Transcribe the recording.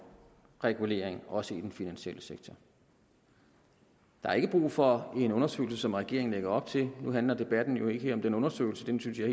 regulering også i den finansielle sektor der er ikke brug for en undersøgelse som regeringen lægger op til nu handler debatten jo ikke lige om den undersøgelse den synes jeg